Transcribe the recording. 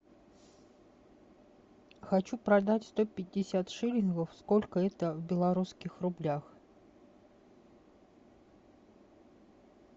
хочу продать сто пятьдесят шиллингов сколько это в белорусских рублях